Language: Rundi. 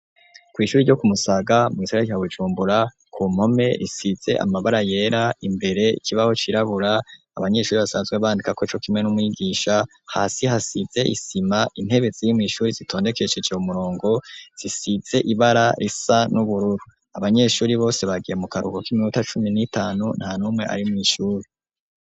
Kw'ishure ryo kumusaga mu gisagara ca bujumbura ku mpome hasizeko amabara yera imbere ikibaho cirabura abanyeshure basanzwe bandikako co kimwe n'umigisha, hasi hasize isima intebe ziri mw'ishure zitondekesheje umurongo zifise ibara risa n'ubururu abanyeshure bose bagiye mu karuhuko k'iminota cumi n'itanu nta numwe ari mw'ishure.